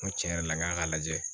N ko tiɲɛ yɛrɛ la n k'a k'a lajɛ